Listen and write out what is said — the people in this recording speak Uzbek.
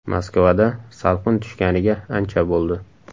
Moskvada salqin tushganiga ancha bo‘ldi.